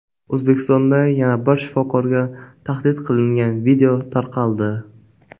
O‘zbekistonda yana bir shifokorga tahdid qilingan video tarqaldi.